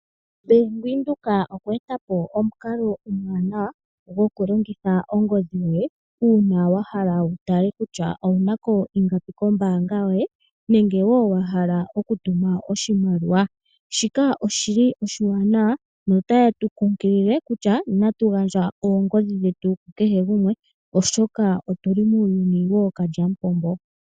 Bank Windhoek okweeta po omukalo omwaanawa gokulongitha ongodhi yoye, uuna wa hala wu tale kutya owuna ko ingapi kombaanga yoye. Nenge wo wa hala okutuma oshimaliwa. Shika oshili oshiwanawa, notaye tu kunkilile kutya, inatu gandja oongodhi dhetu ku kehe gumwe oshoka otuli muuyuni wookalyamupombo.